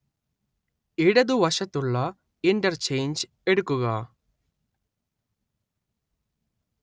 ഇടതുവശത്തുള്ള ഇന്റർചെയ്ഞ്ച് എടുക്കുക